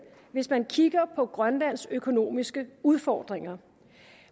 hvis man kigger på grønlands økonomiske udfordringer